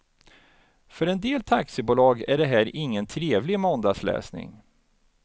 För en del taxibolag är det här ingen trevlig måndagsläsning.